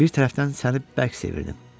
Bir tərəfdən səni bərk sevirdim.